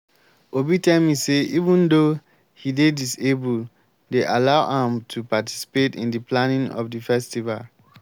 obi tell me say even though he dey disabled dey allow am to participate in the planning of the festival